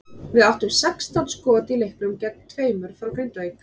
Við áttum sextán skot í leiknum gegn tveimur frá Grindavík.